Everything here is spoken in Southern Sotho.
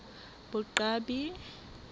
boqwabi